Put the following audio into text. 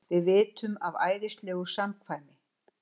Við vitum af æðislegu samkvæmi.